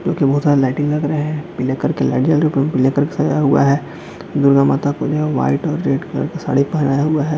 बहुत सारा लाइटिंग लग रहा हैपीले कलर की लाइट चालू है पीले कलर का सजाया गया हैदुर्गा माता का पूजा व्हाइट और रेड कलर की साड़ी पहनया हुआ है।